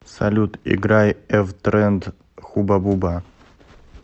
салют играй эвтренд хуба буба